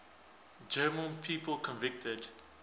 german people convicted